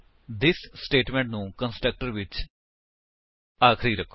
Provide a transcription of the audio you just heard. this statement ਨੂੰ constructor ਵਿੱਚ ਆਖਰੀ ਰੱਖੋ